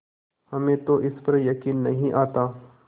हमें तो इस पर यकीन नहीं आता